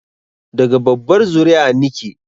Daga babbar zuri'a nike